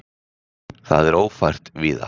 Það er ófært víða.